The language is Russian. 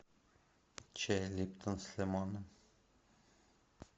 чай липтон с лимоном